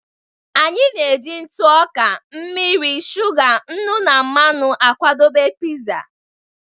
Anyị na-eji ntụ ọka, mmiri, shuga, nnu na mmanụ akwadebe pizza.